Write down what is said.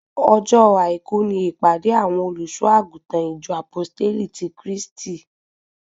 Ọjọ́ àìkú ni ìpàdé àwọn olùṣọ àgùntàn ìjọ Àpóstélì ti Kristi